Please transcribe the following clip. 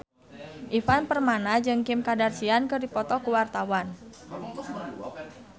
Ivan Permana jeung Kim Kardashian keur dipoto ku wartawan